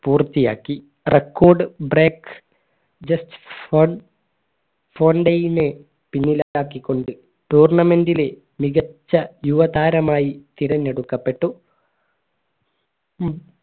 പൂർത്തിയാക്കി record break just fun പിന്നിലത്താക്കിക്കൊണ്ട് tournament ലെ മികച്ച യുവതാരമായി തിരഞ്ഞെടുക്കപ്പെട്ടു ഉം